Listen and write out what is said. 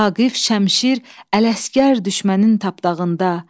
Vaqif, Şəmşir, Ələsgər düşmənin tapdağında.